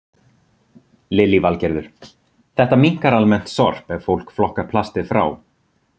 Lillý Valgerður: Þetta minnkar almennt sorp ef fólk flokkar plastið frá?